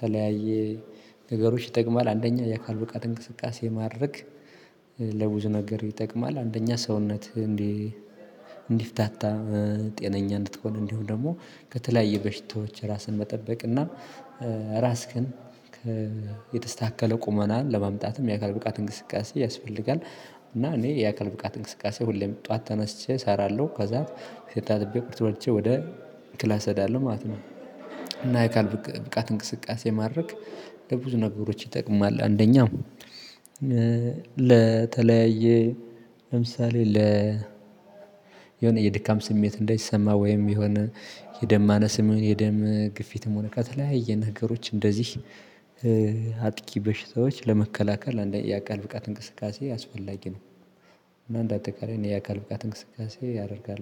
ተለያየ ነገሮች ይጠቅማል አንደኛ የአካል ብቃት እንቅስቃሴ ማድረግ የማድረግ ለብዙ ነገር ይጠቅማል አንደኛ ሰውነትን እንዲ እንዲፍታታ ጤነኛ እንድትሆን እንዲሁ ደግሞ ከተለያየ በሽታዎች ራስን መጠበቅ እና ራስክን የት የተስተካከለ ቁመናን ለማምጣትም የአካል ብቃት እንቅስቃሴ ያስፈልጋል። እና እኔ የአካል ብቃት እንቅስቃሴ ሁሌም ጡዋት ተነስቼ እሰራለው ከዛ ፊቴ ታጥቤ ቁርስ በልቼ ወደ ክላስ እሄዳለው ማለት ነው። ኤካል ብቅ ብቃት እንቅስቃሴ ማድረግ ለብዙ ነገሮች ይጠቅማል አንደኛ ለተለያየ ለምሳሌ ለ የሆነ የድካም ስሜት እንዳይሰማ ወይም የሆነ የደማነስም ሆነ የደም ግፊትም ሆነ ከተለያየ ነገሮችእንደዚህ እ በሽታዎች ለመከላከል አንደኛ ያካል ብቃት እንቅስቃሴ አስፈላጊ ነው። እና እንዳጠቃላይ እኔ አካል ብቃት እንቅስቃሴ ያደርጋል